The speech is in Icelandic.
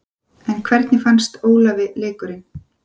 En hvernig fannst Ólafi leikurinn?